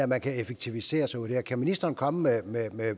man kan effektivisere sig ud af det kan ministeren komme med